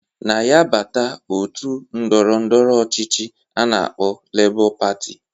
Na ya bata otu ndọrọ ndọrọ ọchịchị a na-akpọ Lebọ Patị